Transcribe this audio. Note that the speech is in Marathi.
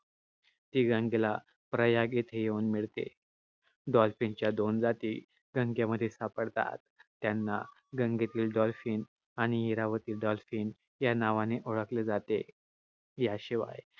ती गंगेला प्रयाग येथे येऊन मिळते ती गंगेला प्रयाग येथे येऊन मिळते. dolphin च्या दोन जाती गंगेमध्ये सापडतात. त्यांना गंगेतील dolphin आणि इरावती dolphin या नावाने ओळखले जाते. याशिवाय